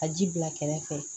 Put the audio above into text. Ka ji bila kɛrɛfɛ